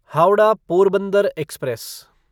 Howrah Porbandar express